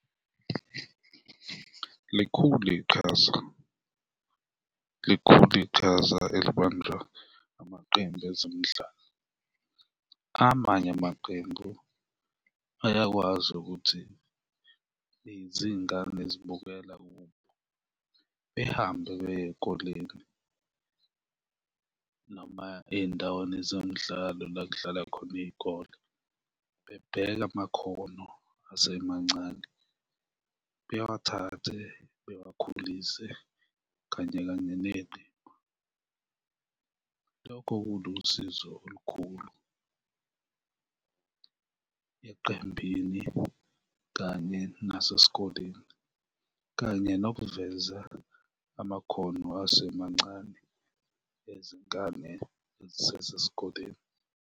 Likhulu iqhaza, likhulu iqhaza elibanjwa amaqembu ezemidlalo. Amanye amaqembu ayakwazi ukuthi izingane ezibukela kubo, behambe beye ey'koleni noma ey'ndaweni zemidlalo la kudlala khona iy'kole, bebheke amakhono asemancane, bewathathe bewakhulise kanye kanye neqembu, lokho kulusizo olukhulu eqembini kanye nasesikoleni kanye nokuveza amakhono asemancane ezingane ezisesesikoleni.